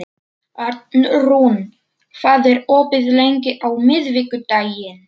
Arnrún, hvað er opið lengi á miðvikudaginn?